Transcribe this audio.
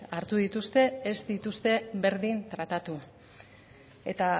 hartu dituzte ez dituzte berdin tratatu eta